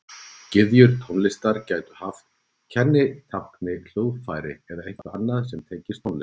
Gyðjur tónlistar gætu haft að kennitákni hljóðfæri eða eitthvað annað sem tengist tónlist.